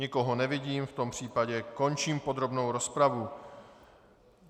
Nikoho nevidím, v tom případě končím podrobnou rozpravu.